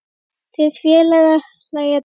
Þeir félagar hlæja dátt.